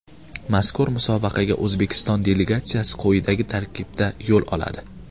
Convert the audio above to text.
Mazkur musobaqaga O‘zbekiston delegatsiyasi quyidagi tarkibda yo‘l oladi: !